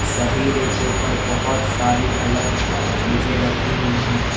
सभी रैको पर बहुत सारी अलग-अलग चीजें रखी हुई हैं।